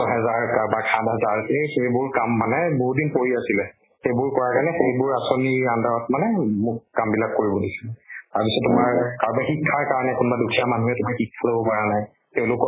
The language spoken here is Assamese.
হাজাৰ কাৰোবাৰ সাত হাজাৰ সেইবোৰ কাম মানে বহুদিন পৰি আছিলে। সেইবোৰ কৰাৰ কাৰণে, সেইবোৰ আচনীৰ under ত মানেমু মোক কাম বিলাক কৰিব দিছে। তাৰ পিছত তোমাৰ কাৰোবাৰ শিক্ষাৰ কাৰণে কোনবা দুখীয়া মানুহে যদি শিক্ষা লব পাৰা নাই, তেওঁলোক